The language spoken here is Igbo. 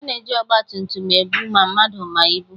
A na-eji ọgbatumtum ebu ma mmadụ ma ibu.